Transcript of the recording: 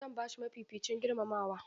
Zan ba shi mafificin girmamawa.